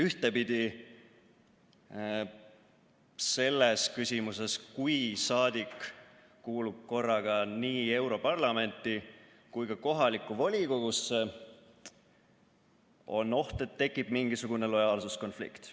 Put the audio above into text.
Ühtpidi on siis, kui saadik kuulub korraga nii europarlamenti kui ka kohalikku volikogusse, oht, et tekib mingisugune lojaalsuskonflikt.